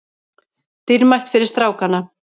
Dýrmætt fyrir strákana